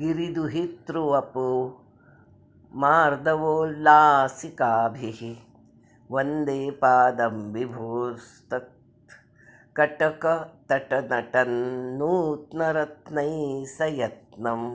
गिरिदुहितृवपुर्मार्दवोल्लासिकाभिः वन्दे पादं विभोस्तत्कटकतटनटन्नूत्नरत्नैः सयत्नम्